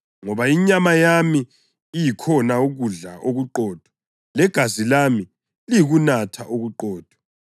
Ngoba inyama iyikhona kudla okuqotho legazi lami liyikunatha okuqotho.